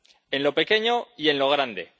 En lo pequeño y en lo grande.